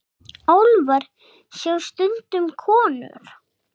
Álfa sjá stundum konur.